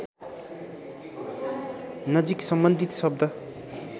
नजिक सम्बन्धित शब्द